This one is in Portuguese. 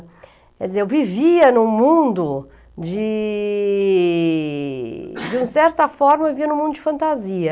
Quer dizer, eu vivia em um mundo de... De certa forma, eu vivia em um mundo de fantasia.